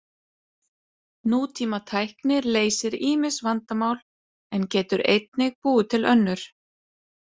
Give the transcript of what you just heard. Nútímatækni leysir ýmis vandamál en getur einnig búið til önnur.